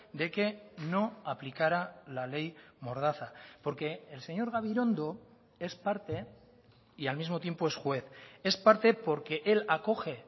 de que no aplicará la ley mordaza porque el señor gabirondo es parte y al mismo tiempo es juez es parte porque él acoge